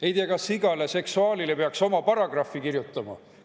Ei tea, kas igale seksuaalile peaks oma paragrahvi kirjutama?